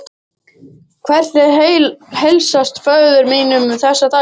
Hvernig heilsast föður mínum þessa dagana?